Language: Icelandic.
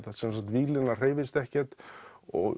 víglínan hreyfist ekkert og